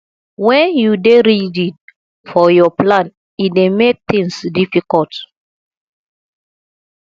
wen you dey rigid for your plan e dey make tins difficult